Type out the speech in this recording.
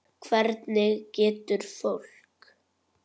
Hvernig getur fólk.